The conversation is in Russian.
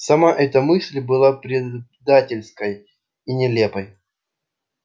сама эта мысль была предательской и нелепой